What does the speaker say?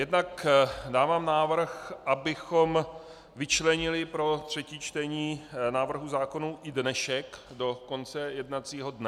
Jednak dávám návrh, abychom vyčlenili pro třetí čtení návrhů zákonů i dnešek do konce jednacího dne.